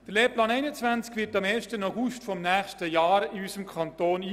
Der Lehrplan 21 wird am 1. August des nächsten Jahres in unserem Kanton eingeführt.